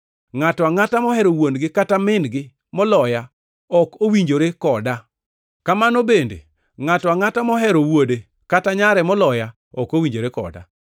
“Ngʼato angʼata mohero wuon-gi kata min-gi moloya ok owinjore koda. Kamano bende, ngʼato angʼata mohero wuode kata nyare moloya ok owinjore koda;